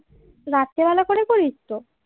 রাত্রেবেলা করে কড়িস তো